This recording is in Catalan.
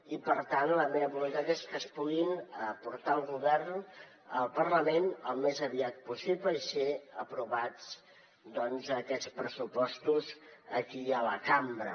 i per tant la meva voluntat és que es puguin portar al parlament al més aviat possible i ser aprovats doncs aquests pressupostos aquí a la cambra